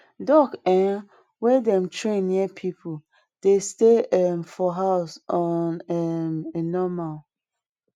duck um wey dem train near people dey stay um for house on um a normal